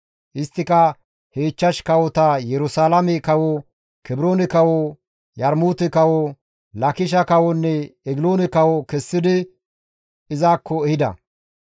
Isttika he ichchash kawota Yerusalaame kawo, Kebroone kawo, Yarmuute kawo, Laakishe kawonne Egiloone kawo kessidi izakko ehida.